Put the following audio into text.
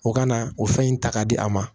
O ka na o fɛn in ta ka di a ma